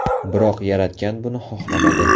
Biroq yaratgan buni xohlamadi.